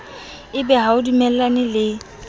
ebe ha o dumellane le